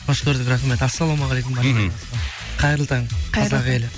қош көрдік рахмет ассаламағалейкум мхм қайырлы таң қазақ елі